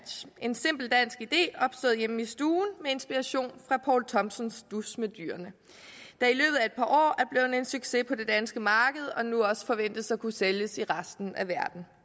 en simpel dansk idé opstået hjemme i stuen med inspiration fra poul thomsens dus med dyrene og en succes på det danske marked og nu også forventes at kunne sælges i resten af verden